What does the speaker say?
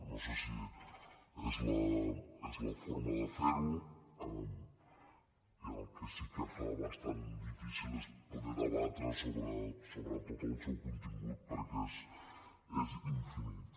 no sé si és la forma de fer ho i el que sí que fa bastant difícil és poder debatre tot el seu contingut perquè és infinit